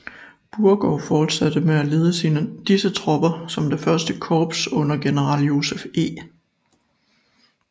Beauregard fortsatte med at lede disse tropper som det første korps under general Joseph E